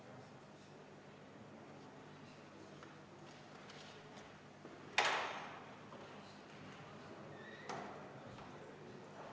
Ma siiski pean markeerima ka selle "aga", millega Vabaerakond nõus olla ei saa.